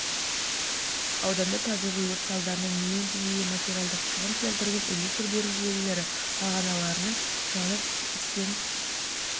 аудандарында табиғи өрт салдарынан млн теңгеге материалдық шығын келтірген электр беру желілері бағаналарының жанып істен